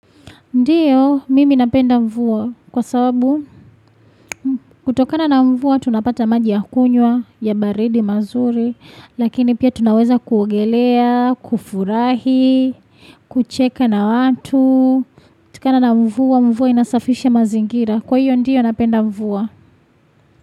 Ndiyo, mimi napenda mvua. Kwa sababu, kutokana na mvua, tunapata maji ya kunwya, ya baridi mazuri. Lakini pia tunaweza kuogelea, kufurahi, kucheka na watu. Tukana na mvua, mvua inasafisha mazingira. Kwa hiyo ndiyo napenda mvua.